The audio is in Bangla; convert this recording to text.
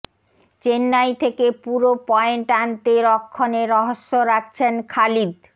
চেন্নাই থেকে পুরো পয়েন্ট আনতে রক্ষণে রহস্য রাখছেন খালিদ